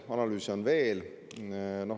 Ja analüüse on veel.